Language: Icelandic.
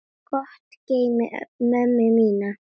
Gott geymi mömmu mína.